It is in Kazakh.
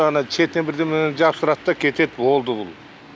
ана шетіне бірдеңелерді жабыстырады да кетеді болды бұл